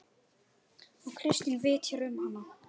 Og Kristín vitjar um hana.